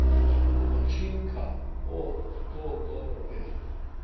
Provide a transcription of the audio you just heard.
Domačinka O to dobro ve.